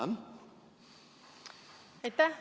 Aitäh!